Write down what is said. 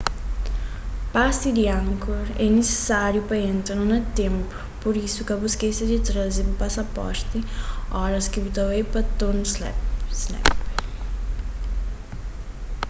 pasi di angkor é nisisáriu pa entra na ténplu pur isu ka bu skese di traze bu pasaporti óras ki bu ta bai pa tonle sap